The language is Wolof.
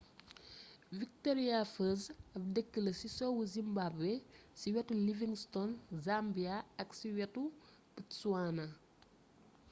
victoria falls ab deekla ci sow zimbabwe ci wétu livingstone zambia ak ci wétu botswana